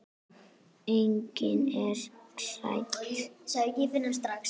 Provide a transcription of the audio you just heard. Einnig er hægt að sjá.